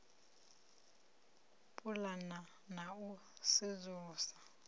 u pulana na u sedzulusa